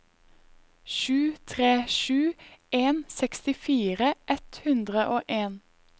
sju tre sju en sekstifire ett hundre og en